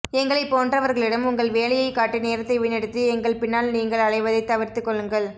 எங்களைப் போன்றவர்களிடம் உங்கள் வேலையே காட்டி நேரத்தை வீணடித்து எங்கள் பின்னால் நீங்கள் அலைவதைத் தவிர்த்துக்கொள்ளுங்கள்